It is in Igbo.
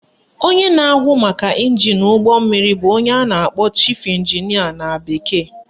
Onye na-ahụ maka ịnjin n'ụgbọ mmiri bụ onye a na-akpọ Chief Engineer na bekee